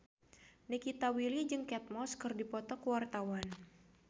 Nikita Willy jeung Kate Moss keur dipoto ku wartawan